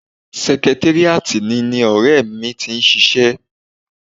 Sẹkitéríàtì ni ni ọ̀rẹ́ mi ti ń ṣiṣẹ́